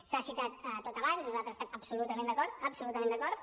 s’ha citat tot abans nosaltres hi es·tem absolutament d’acord absolutament d’acord